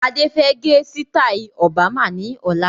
Adé fẹ gẹ sitai Obama ni ọ̀la.